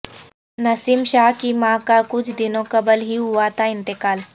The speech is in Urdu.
نسیم شاہ کی ماں کا کچھ دنوں قبل ہی ہوا تھا انتقال